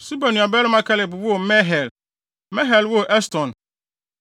Suba nuabarima Kelub woo Mehir. Mehir woo Eston.